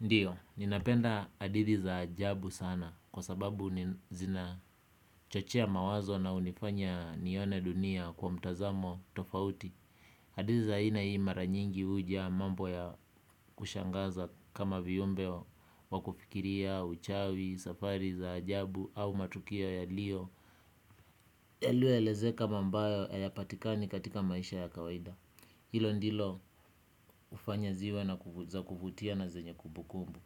Ndio, ninapenda hadithi za ajabu sana kwa sababu zina chochea mawazo na unifanya nione dunia kwa mtazamo tofauti hadithi za aina hii mara nyingi hujaa mambo ya kushangaza kama viumbe wa kufikiria uchawi, safari za ajabu au matukio yaliyo yaliyoelezeka mamba hayapatikani katika maisha ya kawaida. Hilo ndilo ufanya ziwe na za kufutia na zenye kubukumbu.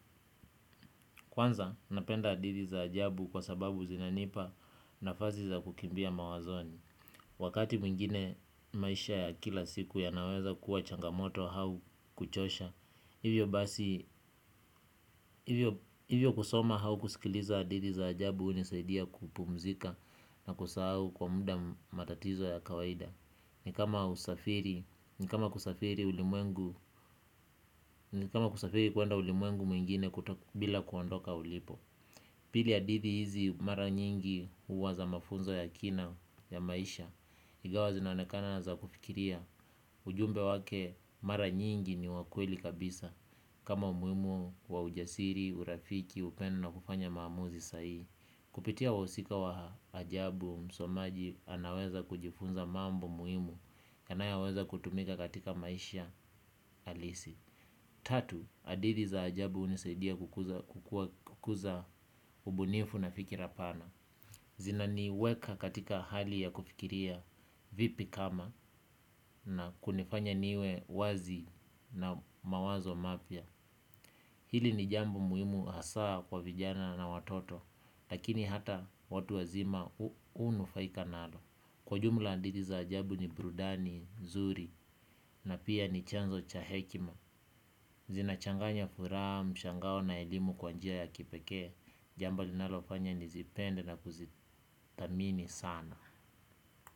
Kwanza, napenda hadithi za ajabu kwa sababu zinanipa nafasi za kukimbia mawazoni. Wakati mwingine maisha ya kila siku yanaweza kuwa changamoto au kuchosha. Hivyo basi, hivyo kusoma au kusikiliza hadithi za ajabu hunisaidia kupumzika na kusahau kwa muda matatizo ya kawaida. Ni kama usafiri, ni kama kusafiri ulimwengu, ni kama kusafiri kuenda ulimwengu mwingine bila kuondoka ulipo. Pili hadithi hizi mara nyingi huwa za mafunzo ya kina ya maisha. Ingawa zinaonekana za kufikiria ujumbe wake mara nyingi ni wakweli kabisa. Kama umuhimu wa ujasiri, urafiki, upendo na kufanya maamuzi sahii kupitia wahusika wa ajabu msomaji anaweza kujifunza mambo muhimu yanayo weza kutumika katika maisha halisi. Tatu, hadithi za ajabu unisaidia kukuza ubunifu na fikira pana. Zina niweka katika hali ya kufikiria vipi kama na kunifanya niwe wazi na mawazo mapya. Hili ni jambo muhimu hasaa kwa vijana na watoto, lakini hata watu wazima hunufaika nalo. Kwa jumla hadithi za ajabu ni burudani, nzuri na pia ni chanzo cha hekima. Zinachanganya furaha, mshangao na elimu kwa njia ya kipekee. Jambo linalofanya nizipende na kuzithamini sana.